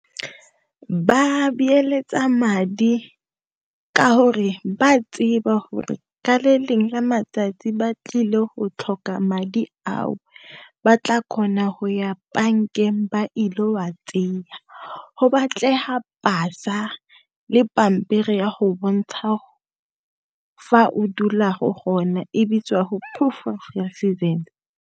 Ba beeletsa madi ka gore ba tseba gore ka le lengwe la matsatsi ba tlile go tlhoka madi ao, ba tla kgona go ya bankeng ba ile go a . Go batlega pasa le pampiri ya go bontsha fa o dulago gona e bitswa proof of residence.